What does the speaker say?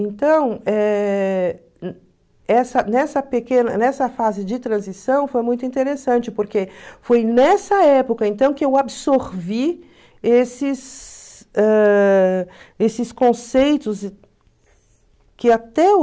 Então, eh essa nessa pequena nessa fase de transição foi muito interessante, porque foi nessa época então que eu absorvi esses ãh esses conceitos que até